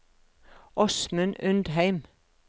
Åsmund Undheim